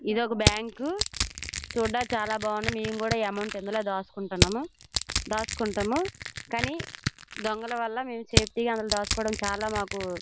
ఇది ఒక బ్యాంకు చూడాడానికి చాలా బాగున్నది నేను కూడా ఎమౌంట్ ఇందిలో దాచుకుంటాము కానీ దొంగలు వాళ్ళ మేము సేఫ్టీ గా మాకు--